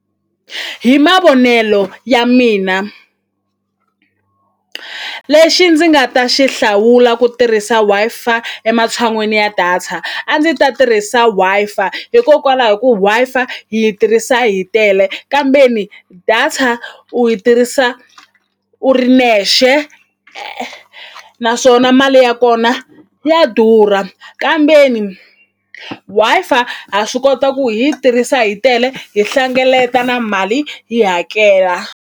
Hi mavonelo ya mina lexi ndzi nga ta xi hlawula ku tirhisa Wi-Fi ematshan'wini ya data a ndzi ta tirhisa Wi-Fi hikokwalaho ku Wi-Fi hi yi tirhisa hi tele kambeni data u yi tirhisa u ri nexe naswona mali ya kona ya durha kambeni Wi-Fi ha swi kota ku hi yi tirhisa hi tele hi hlengeleta na mali hi hakela.